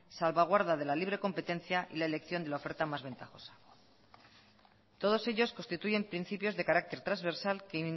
salvaguarda de la libre competencia y la elección de la oferta más ventajosa todos ellos constituyen principios de carácter transversal que